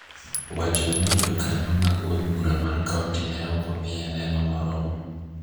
wacho ni Jokanyo mag od bura mar kaonti ne ok omiyo neno moromo.